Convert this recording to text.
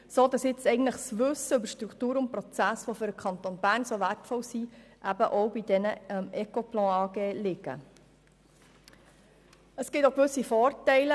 Dadurch ist das Wissen über die Strukturen und Prozesse, die für den Kanton Bern so wertvoll sind, bei Ecoplan vorhanden ist.